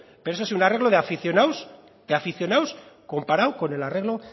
pero eso sí un arreglo de aficionados comparado con el arreglo